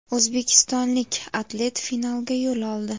O‘zbekistonlik atlet finalga yo‘l oldi!.